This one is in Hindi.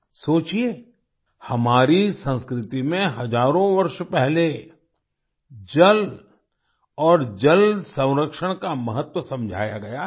सोचिए हमारी संस्कृति में हजारों वर्ष पहले जल और जल संरक्षण का महत्व समझाया गया है